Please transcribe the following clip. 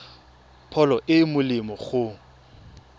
pholo e e molemo go